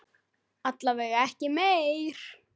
Alla vega ekki meir.